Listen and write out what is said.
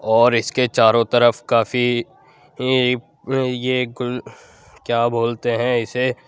और इसके चारो तरफ काफी इ इ यह क्या बोलते है इसे --